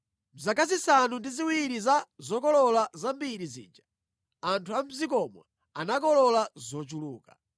Mʼzaka zisanu ndi ziwiri za zokolola zambiri zija, anthu mʼdzikomo anakolola zochuluka.